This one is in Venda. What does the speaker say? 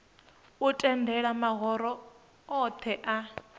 u tendela mahoro othe a